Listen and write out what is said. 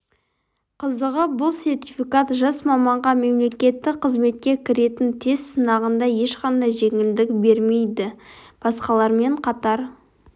қызығы бұл сертификат жас маманға мемлекеттік қызметке кіретін тест сынағында ешқандай жеңілдік бермейді басқалармен қатар